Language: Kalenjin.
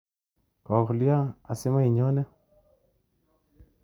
Kokolya asimainyone?